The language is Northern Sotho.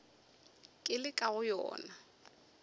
ke le ka go yona